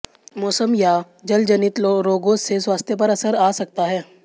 मौसम या जलजनित रोगों से स्वास्थ्य पर असर आ सकता है